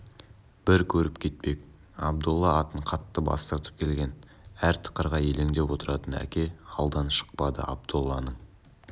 бір көріп кетпек абдолла атын қатты бастырып келген әр тықырға елеңдеп отыратын әке алдан шықпады абдолланың